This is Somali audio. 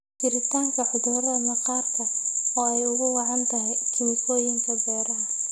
Jiritaanka cudurrada maqaarka oo ay ugu wacan tahay kiimikooyinka beeraha.